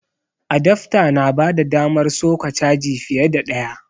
Adafta na bada damar soka caji fiye da ɗaya